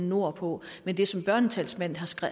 nordpå men det som børnetalsmanden